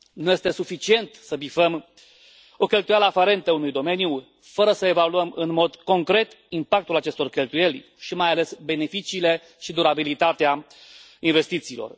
Nu este suficient să bifăm o cheltuială aferentă unui domeniu fără să evaluăm, în mod concret, impactul acestor cheltuieli și, mai ales, beneficiile și durabilitatea investițiilor.